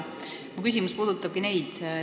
Minu küsimus puudutabki neid.